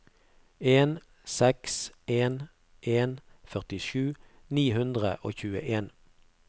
en seks en en førtisju ni hundre og tjueen